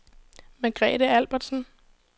Margrethe Albertsen